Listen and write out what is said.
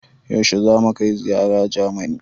Yaushe za mu kai ziyara Jamani?